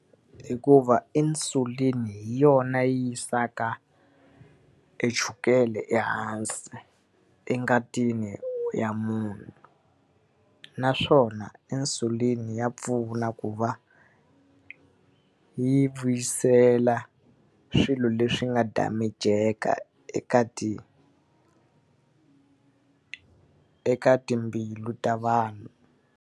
Hikuva insulin hi yona yi yisaka e chukele ehansi engatini ya munhu. Naswona insulin ya pfuna ku va yi vuyisela swilo leswi nga damage-ka eka ti eka timbilu ta vanhu.